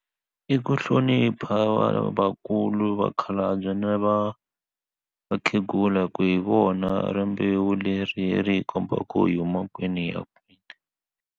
I ku hlonipha vanhu lavakulu vakhalabya na va vakhegula hi ku hi vona rimbewu leri ri hi kombaka ku u yi huma kwini ya kwini.